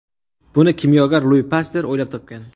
Buni kimyogar Lui Paster o‘ylab topgan.